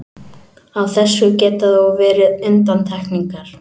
Á þessu geta þó verið undantekningar.